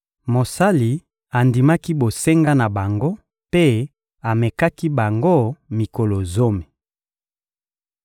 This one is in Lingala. Mosala andimaki bosenga na bango mpe amekaki bango mikolo zomi.